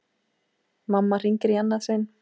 Mamma hringir í annað sinn.